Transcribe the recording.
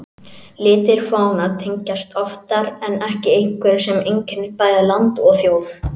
Litir fána tengjast oftar en ekki einhverju sem einkennir bæði land og þjóð.